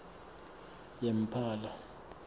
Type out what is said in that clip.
yemphala